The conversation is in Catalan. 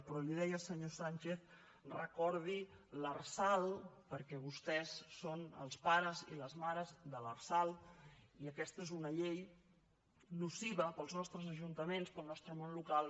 però li deia senyor sánchez que recordi l’lrsal perquè vostès són els pares i les mares de l’lrsal i aquesta és una llei nociva per als nostres ajuntaments per al nostre món local